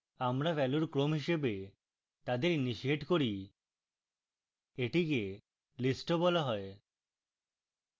আমরা ভ্যালুর ক্রম হিসাবে তাদের initiate করি এটিকে list of বলা হয়